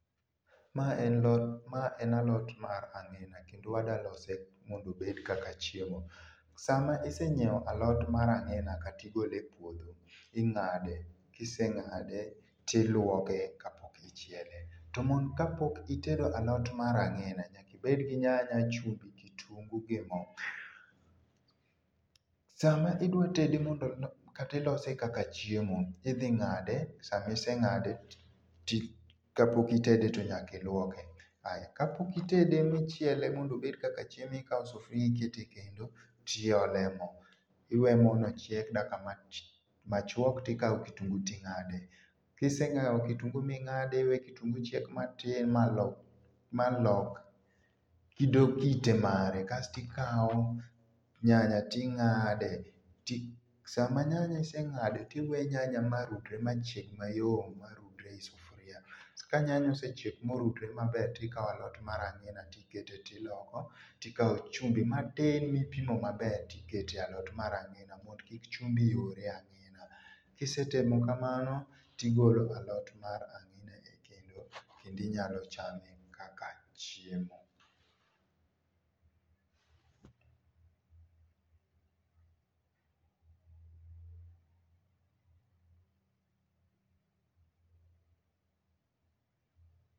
Ma en lot ma en alot mar ang'ina kendo ada lose mondo obe kaka chiemo. Sama isenyiewo alot mar ang'ina kata igol epuodho ing'ade , kiseng'ade tiluoke kapok ichiele. To mo Kapok itedo alot mar ang'ina nyaki bed gi nyanya, chumvi, kitungu gi moo. Sama idwa tede mondo kata ilose kaka chiemo idhi ng'ade sama iseng'ade ti kapok itede to nyaka ilwoke . Aya kapok itede michielo mondo obed kaka chiemo ikawo sufuria iketo e kendo tiole moo iwe moo nochiek daka mati machuok tikawo kutungu ting'ade kiseng'iwo kitungu ming'ade tiwe kitungu chiek matin malok malok kido kite mare kae tikao nyanya ting'ade sama nyanya iseng'ade tiwe nyanya marudre mayom e marudre e sufuria ka nyanya osechiek morudre maber tikao alot mar angina tikete tiloko tikawo chumbi matin mipimo maber tikete alot mar ang'ina mondo kik chumbi rure e ang'ina kisetimo kamano tigolo alot mar ang'ina e kendo kendi nyalo chame kaka chiemo.